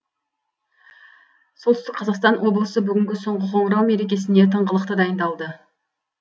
солтүстік қазақстан облысы бүгінгі соңғы қоңырау мерекесіне тыңғылықты дайындалды